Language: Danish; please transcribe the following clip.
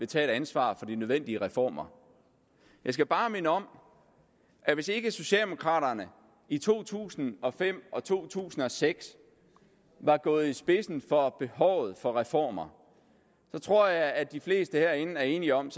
tage et ansvar for de nødvendige reformer jeg skal bare minde om at hvis ikke socialdemokraterne i to tusind og fem og to tusind og seks var gået i spidsen for behovet for reformer tror jeg at de fleste herinde er enige om